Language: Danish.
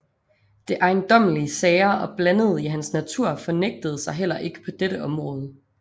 Det ejendommelig sære og blandede i hans natur fornægtede sig heller ikke på dette område